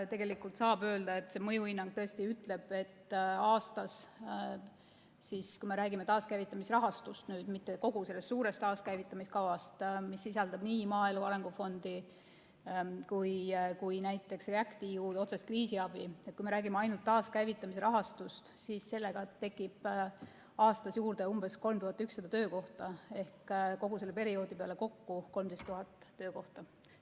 Tegelikult see mõjuhinnang tõesti ütleb taaskäivitamise rahastuga – kui me räägime ainult taaskäivitamise rahastust, mitte kogu sellest suurest taaskäivitamiskavast, mis sisaldab nii maaelu, arengufondi kui ka näiteks REACT‑EU otsest kriisiabi – tekib aastas juurde umbes 3100 töökohta ehk kogu selle perioodi peale kokku 13 000 töökohta.